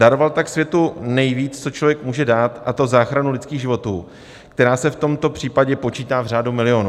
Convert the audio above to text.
Daroval tak světu nejvíc, co člověk může dát, a to záchranu lidských životů, která se v tomto případě počítá v řádu milionů.